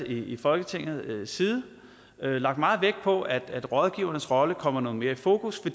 i folketingets side lagt meget vægt på at rådgivernes rolle kommer noget mere i fokus